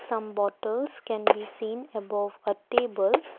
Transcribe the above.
some bottles can be seen above a table.